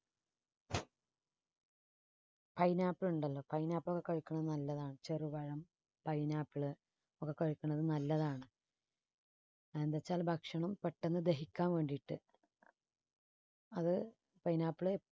pineapple ഉണ്ടല്ലോ pineapple കഴിക്കുന്നത് നല്ലതാണ് ചെറുപഴം pineapple ഒക്കെ കഴിക്കുന്നത് നല്ലതാണ്. അതെന്തെന്ന് വെച്ചാൽ ഭക്ഷണം പെട്ടെന്ന് ദഹിക്കാൻ വേണ്ടിയിട്ട് അത് pineapple